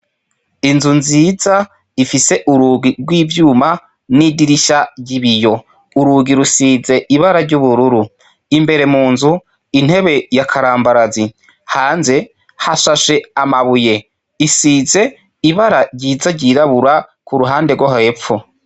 Inzu nziza ifise urugi rw'ivyuma n'idirisha ry'ibiyo, urugi rusize ibara ry'ubururu, imbere munzu intebe ya karambarazi, hanze hashashe amabuye, isize ibara ryiza ry'irabura k'uruhande rwo hepfo.